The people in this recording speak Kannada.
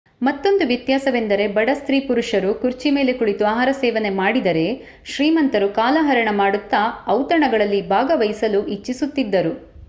ಮತ್ತೊಂದು ವ್ಯತ್ಯಾಸವೆಂದರೆ ಬಡ ಸ್ತ್ರೀ ಪುರುಷರು ಕುರ್ಚಿ ಮೇಲೆ ಕುಳಿತು ಆಹಾರ ಸೇವನೆ ಮಾಡಿದರೆ ಶ್ರೀಮಂತರು ಕಾಲಹರಣ ಮಾಡುತ್ತಾ ಔತಣಗಳಲ್ಲಿ ಭಾಗವಹಿಸಲು ಇಚ್ಚಿಸುತಿದ್ದರು